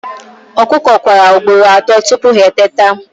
Ọkụkọ kwara ugboro atọ tupu ha eteta